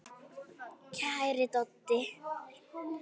Kæri Doddi.